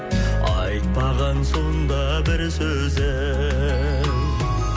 айтпаған сонда бір сөзім